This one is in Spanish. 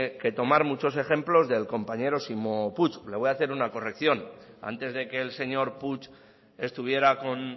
que tomar muchos ejemplos del compañero ximo puig le voy a hacer una corrección antes de que el señor puig estuviera con